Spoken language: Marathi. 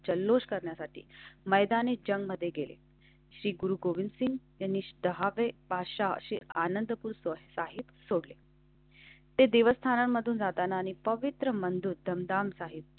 जल्लोष करण्यासाठी मैदान ए जंगमध्ये गेले. श्री गुरु गोविंद सिंह कनिष्ठ हावे पाचशे अशी आनंदपूर स्वस्त आहेत. ते देवस्थानमधून जाताना आणि पवित्र बंद होतं. डान्स आहेत.